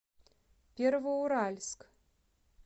первоуральск